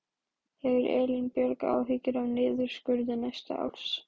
Hefur Elín Björg áhyggjur af niðurskurði næsta árs?